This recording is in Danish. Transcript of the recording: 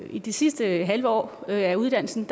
i det sidste halve år af uddannelsen